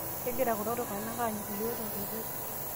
kegira kulo tunganak anyu iyiok tenkoitoi